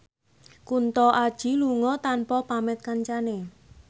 Kunto Aji lunga tanpa pamit kancane